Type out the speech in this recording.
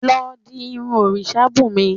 Lọ di irun òrìṣabunmi